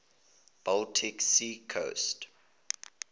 baltic sea coast